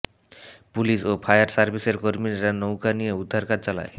police ও fire সার্ভিসের কর্মীরা নৌকা নিয়ে উদ্ধারকাজ চালায়